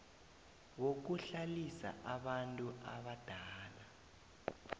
wokuhlalisa abantu abadala